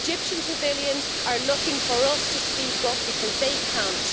Egyptian civilians are looking for us to speak up, because they can't.